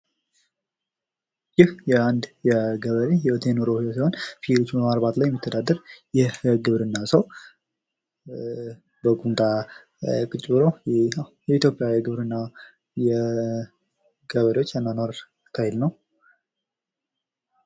ይህ የአንድ የገበሬ ሕይወት የግብርና ሕይወት ሲሆን ፍየል በማርባት የሚተዳደር የግብርና ሰው በቁምጣ ቁጭ ብሎ የኢትዮጵያ ግብርና የገበሬዎች አኗኗር ነው